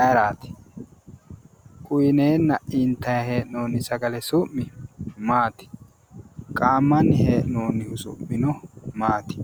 ayeraati? uyiineenna intanni hee'noonni sagale su'mi maati? qaammanni hee'noonnihu su'mino maati?